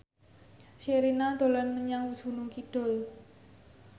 Sherina dolan menyang Gunung Kidul